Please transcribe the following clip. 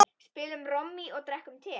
Spilum Rommý og drekkum te.